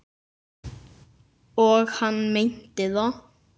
Og hann meinti það.